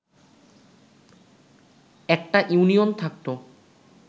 একটা ইউনিয়ন থাকতো